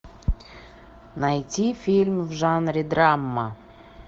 найти фильм в жанре драма